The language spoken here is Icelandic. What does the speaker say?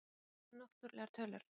Hvað eru náttúrlegar tölur?